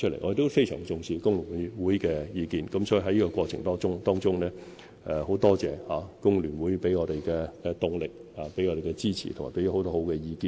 我們非常重視工聯會的意見，所以在這過程中，很感謝工聯會給我們的動力、支持和有用的意見。